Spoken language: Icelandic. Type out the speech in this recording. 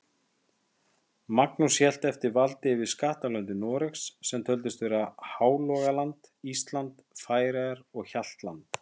Magnús hélt eftir valdi yfir skattlöndum Noregs, sem töldust vera Hálogaland, Ísland, Færeyjar og Hjaltland.